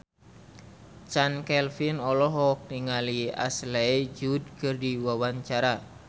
Chand Kelvin olohok ningali Ashley Judd keur diwawancara